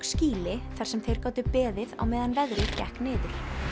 skýli þar sem þeir gátu beðið á meðan veðrið gekk niður